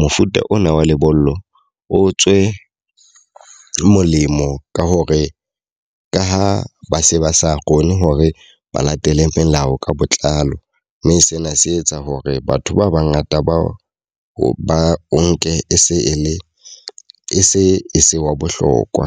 mofuta ona wa lebollo o tswe molemo ka hore ka ha ba se ba sa sa kgone hore ba latele melao ka botlalo. Mme sena se etsa hore batho ba ba ngata ba o ba o nke e se e le e se e se wa bohlokwa.